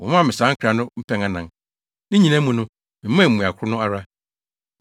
Wɔmaa me saa nkra no mpɛn anan. Ne nyinaa mu no, memaa mmuae koro no ara.